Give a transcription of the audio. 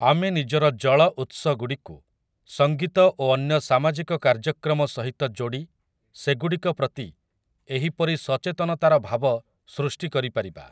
ଆମେ ନିଜର ଜଳଉତ୍ସଗୁଡ଼ିକୁ, ସଂଗୀତ ଓ ଅନ୍ୟ ସାମାଜିକ କାର୍ଯ୍ୟକ୍ରମ ସହିତ ଯୋଡ଼ି ସେଗୁଡ଼ିକ ପ୍ରତି ଏହିପରି ସଚେତନତାର ଭାବ ସୃଷ୍ଟି କରିପାରିବା ।